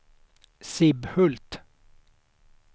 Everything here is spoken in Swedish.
Sibbhult